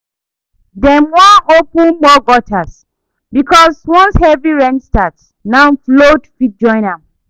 Dem wan open more gutters because once heavy rain start now flood fit join am